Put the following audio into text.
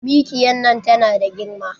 Mikiya nan tana da girma.